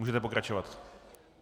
Můžete pokračovat.